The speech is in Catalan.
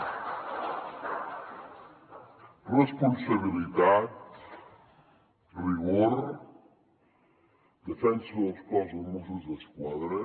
responsabilitat rigor defensa del cos dels mossos d’esquadra